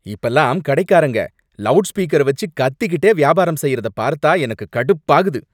இப்பல்லாம் கடைக்காரங்க லவுட்ஸ்பீக்கர வச்சு கத்திகிட்டே வியாபாரம் செய்யறத பார்த்தா எனக்கு கடுப்பாகுது.